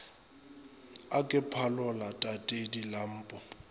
a ke phalola tatedi lempo